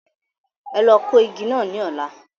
Ẹ lọ kó igi náà ní ọ̀la.